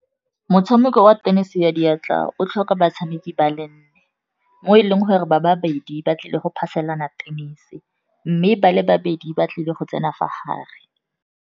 Motshameko wa tennis ya diatla o tlhoka batshameki ba le nne, mo e leng gore ba babedi ba tlile go phaselana tennis-e mme ba le babedi ba tlile go tsena fa gare.